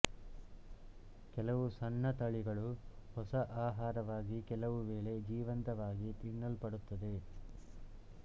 ಕೆಲವು ಸಣ್ಣ ತಳಿಗಳು ಹೊಸ ಆಹಾರವಾಗಿ ಕೆಲವು ವೇಳೆ ಜೀವಂತವಾಗಿ ತಿನ್ನಲ್ಪಡುತ್ತವೆ